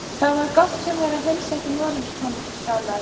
Það var gott hjá mér að heilsa ekki Noregskonungi, galaði